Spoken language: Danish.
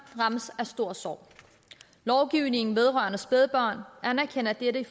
rammes af stor sorg lovgivningen vedrørende spædbørn anerkender dette